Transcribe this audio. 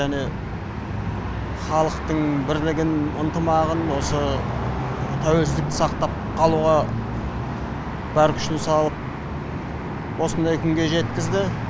және халықтың бірлігін ынтымағын осы тәуелсіздікті сақтап қалуға бар күшін салып осындай күнге жеткізді